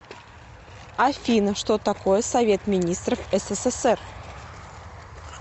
афина что такое совет министров ссср